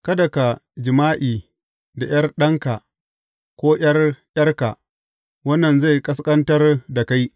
Kada ka yi jima’i da ’yar ɗanka ko ’yar ’yarka, wannan zai ƙasƙantar da kai.